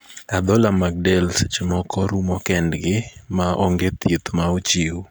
Adhola mad del seche moko rumo kend gi ma ong'e thieth ma ochiw.